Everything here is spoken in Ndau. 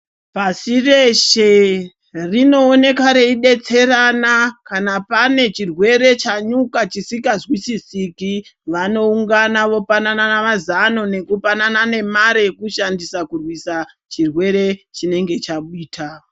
Pashireshe rinooneka reidetserana kana pane chirwere chanyuka chisingazwisisiki vanoungana vopanana mazano nekupanana nemaree yekushamdisa kurwisa chirwere chinenge chaita